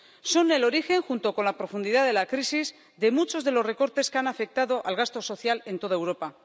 Son el origen, junto con la profundidad de la crisis, de muchos de los recortes que han afectado al gasto social en toda Europa.